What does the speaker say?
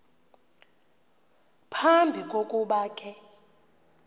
phambi kokuba ke